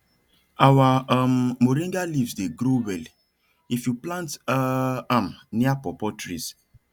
our um moringa leaves dey grow well if you plant um am near pawpaw trees